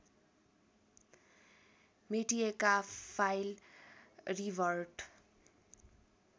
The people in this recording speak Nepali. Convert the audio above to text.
मेटिएका फाइल रिभर्ट